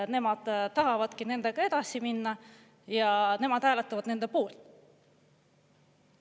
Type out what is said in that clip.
Nemad tahavadki nendega edasi minna ja nemad hääletavad nende otsuste poolt.